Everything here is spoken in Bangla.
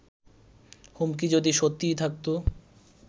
হুমকি যদি সত্যিই থাকত